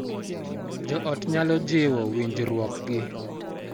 Jo ot nyalo jiwo winjruokgi